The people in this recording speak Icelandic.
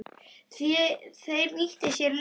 Þeir nýttu sér liðsmuninn.